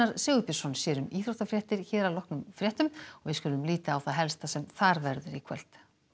Sigurbjörnsson sér um íþróttafréttir hér að loknum fréttum við skulum líta á það helsta sem þar verður í kvöld